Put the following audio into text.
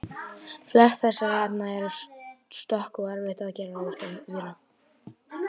flest þessara efna eru stökk og erfitt að gera úr þeim víra